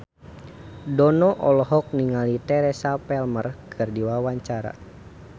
Dono olohok ningali Teresa Palmer keur diwawancara